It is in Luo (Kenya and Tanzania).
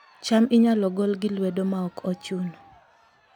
cham inyalo gol gi lwedo maok ochuno